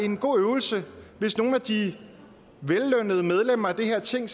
en god øvelse hvis nogle af de vellønnede medlemmer af det her ting